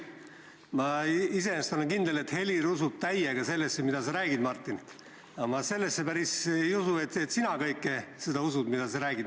Ma iseenesest olen kindel, et Helir usub täiega sellesse, mida sa räägid, Martin, aga ma sellesse päris ei usu, et sina kõike seda usud, mida sa räägid.